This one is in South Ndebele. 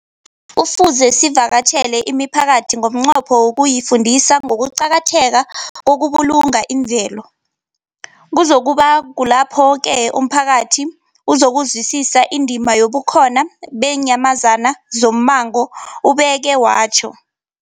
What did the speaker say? Kufuze sivakatjhele imiphakathi ngomnqopho wokuyifundisa ngokuqakatheka kokubulunga imvelo. Kuzoku ba kulapho-ke umphakathi uzokuzwisisa indima yobukhona beenyamazana zommango, ubeke watjho.